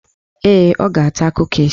Ee, ọ ga-ata kukis